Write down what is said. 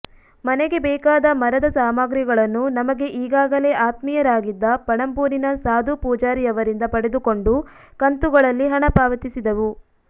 ಮನೆಗೆ ಬೇಕಾದ ಮರದ ಸಾಮಗ್ರಿಗಳನ್ನು ನಮಗೆ ಈಗಾಗಲೇ ಆತ್ಮೀಯರಾಗಿದ್ದ ಪಣಂಬೂರಿನ ಸಾಧು ಪೂಜಾರಿಯವರಿಂದ ಪಡೆದುಕೊಂಡು ಕಂತುಗಳಲ್ಲಿ ಹಣ ಪಾವತಿಸಿದೆವು